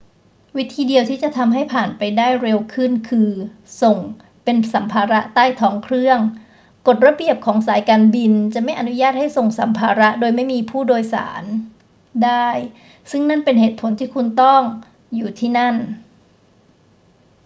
วิธีเดียวที่จะทำให้ผ่านไปได้เร็วขึ้นคือส่งเป็นสัมภาระใต้ท้องเครื่อง กฎระเบียบของสายการบินจะไม่อนุญาตให้ส่งสัมภาระโดยไม่มีผู้โดยสารได้ ซึ่งนั่นเป็นเหตุผลที่ต้องคุณต้องอยู่ที่นั้น